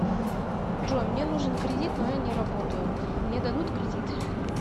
джой мне нужен кредит но я не работаю мне дадут кредит